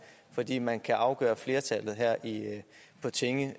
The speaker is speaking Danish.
fordi man kan afgøre flertallet her på tinge